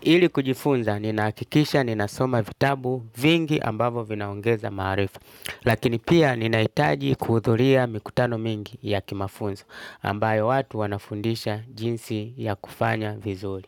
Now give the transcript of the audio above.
Ili kujifunza ninahakikisha ninasoma vitabu vingi ambavo vinaongeza maarifa. Lakini pia ninahitaji kuhudhuria mikutano mingi ya kimafunzo ambayo watu wanafundisha jinsi ya kufanya vizuri.